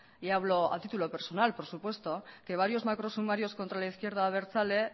y hablo a título personal por supuesto que varios macro sumarios contra la izquierda abertzale